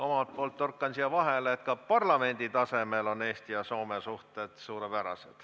Omalt poolt torkan siia vahele, et ka parlamendi tasemel on Eesti ja Soome suhted suurepärased.